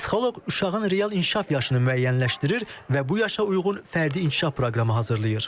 Psixoloq uşağın real inkişaf yaşını müəyyənləşdirir və bu yaşa uyğun fərdi inkişaf proqramı hazırlayır.